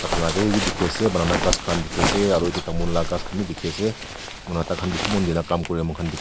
dikhi ase banana ghass khan dikhi ase aru etu tamul la ghass khan bi dikhi ase tai khan bishi mon dine kam kure moi khan dikhi.